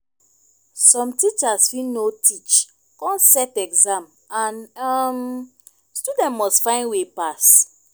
som teachers fit no teach kon set exam and um student must find way pass